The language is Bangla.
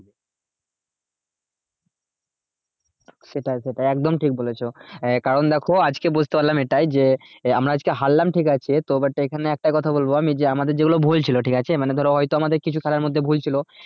সেটাই সেটাই একদম ঠিক বলেছো আহ কারণ দেখো আজকে বুঝতে পারলাম এটাই যে আহ আমরা আজকে হারলাম ঠিক আছে তো but এখানে একটা কথা বলবো আমি যে আমাদের যেগুলো ভুল ছিল ঠিক আছে মানে ধরো হয় তো আমাদের কিছু খেলার মধ্যে ভুল ছিল